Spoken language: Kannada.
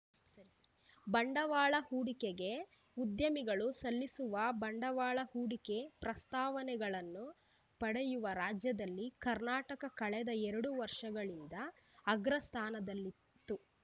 ಬಂಡವಾಳ ಹೂಡಿಕೆಗೆ ಉದ್ಯಮಿಗಳು ಸಲ್ಲಿಸುವ ಬಂಡವಾಳ ಹೂಡಿಕೆ ಪ್ರಸ್ತಾವನೆಗಳನ್ನು ಪಡೆಯುವ ರಾಜ್ಯದಲ್ಲಿ ಕರ್ನಾಟಕ ಕಳೆದ ಎರಡು ವರ್ಷಗಳಿಂದ ಅಗ್ರ ಸ್ಥಾನದಲ್ಲಿತ್ತು